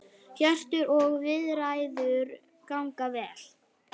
Hjörtur: Og viðræður ganga vel?